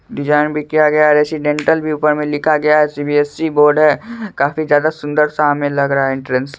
Design भी किया गया है। रेसीडेंटल भी ऊपर मे लिखा गया है। सी_बी_एस_सी बोर्ड है। काफी ज्यादा सुन्दर सा हमे लग रहा है एंट्रेंस।